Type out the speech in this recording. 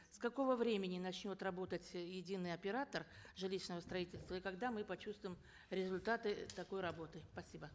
с какого времени начнет работать э единый оператор жилищного строительства и когда мы почувствуем результаты такой работы спасибо